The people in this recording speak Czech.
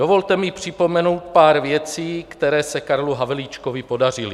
Dovolte mi připomenout pár věcí, které se Karlu Havlíčkovi podařily.